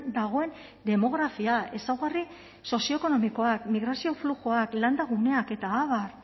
dagoen demografia ezaugarri sozioekonomikoak migrazio fluxuak landaguneak eta abar